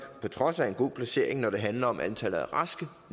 på trods af en god placering når det handler om antallet af raske